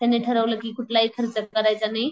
त्यांनी ठरवलं कि कुठलाही खर्च करायचा नाही.